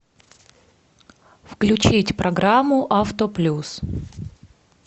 включить программу авто плюс